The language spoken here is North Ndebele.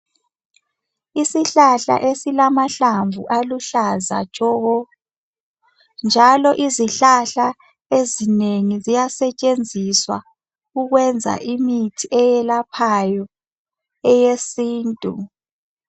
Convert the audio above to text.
Isihlahla esilamahlamvu aluhlaza tshoko njalo izihlahla ezinengi ziyasetshenziswa ukwenza imithi eyelaphayo eyesintu .